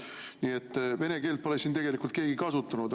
Nii et vene keelt pole siin tegelikult keegi kasutanud.